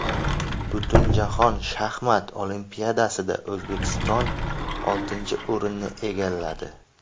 Butunjahon shaxmat olimpiadasida O‘zbekiston oltinchi o‘rinni egalladi.